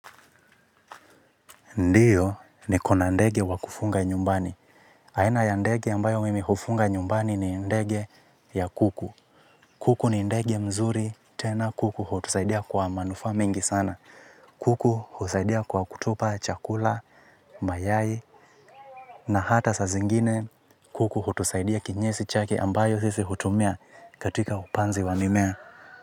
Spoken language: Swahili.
Ndiyo, niko na ndege wa kufuga nyumbani. Aina ya ndege ambayo mimi hufunga nyumbani ni ndege ya kuku. Kuku ni ndege mzuri, tena kuku hutusaidia kwa manufaa mengi sana. Kuku hutusaidia kwa kutupa chakula, mayai, na hata saa zingine kuku hutusaidia kinyesi chake ambayo sisi hutumia katika upanzi wa mimea.